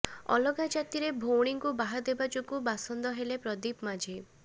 ଅଲଗା ଜାତିରେ ଭଉଣୀଙ୍କୁ ବାହା ଦେବା ଯୋଗୁଁ ବାସନ୍ଦ ହେଲେ ପ୍ରଦୀପ ମାଝୀ